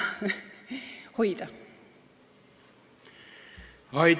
Neid on vaja hoida.